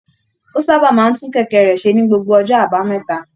Ó sábà máa ń tún kẹ̀kẹ́ rẹ̀ ṣe ní gbogbo ọjọ́ àbámẹ́ta